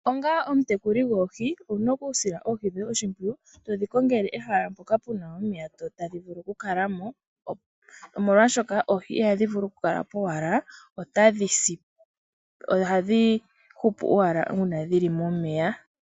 Onga omutekuli goohi ouna oku sila oohi dhoye oshimpwiyu todhi kongele ehala mpoka puna omeya tadhi vulu oku kalamo. Omolwashoka oohi ihadhi vulu kula powala otadhi si. Ohadhi hupu owala uuna dhili momeya.